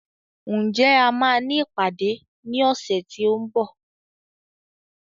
Ǹjẹ́ a máa ní ìpàdé ní ọ̀sẹ̀ tí ó ń bọ̀